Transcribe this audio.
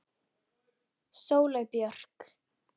Sóley Björk